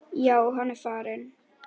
Já, hann er farinn